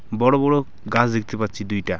বড়ো বড়ো গাছ দেখতে পাচ্ছি দুইটা।